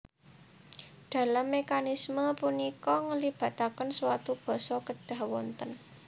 Dalam mekanisme punika ngelibataken suatu basa kedhah wonten